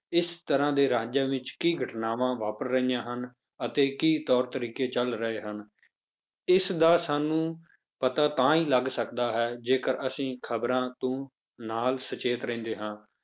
ਇਸ ਤਰ੍ਹਾਂ ਦੇ ਰਾਜਾਂ ਵਿੱਚ ਕੀ ਘਟਨਾਵਾਂ ਵਾਪਰ ਰਹੀਆਂ ਹਨ ਅਤੇ ਕੀ ਤੌਰ ਤਰੀਕੇ ਚੱਲ ਰਹੇ ਹਨ, ਇਸ ਦਾ ਸਾਨੂੰ ਪਤਾ ਤਾਂ ਹੀ ਲੱਗ ਸਕਦਾ ਹੈ ਜੇਕਰ ਅਸੀਂ ਖ਼ਬਰਾਂ ਤੋਂ ਨਾਲ ਸੁਚੇਤ ਰਹਿੰਦੇ ਹਾਂ।